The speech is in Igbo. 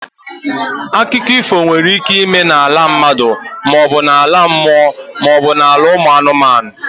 Akụkọ ifo nwere ike ịme n'ala mmadụ maọbu ala mmụọ maọbụ ala ụmụ anụmanụ.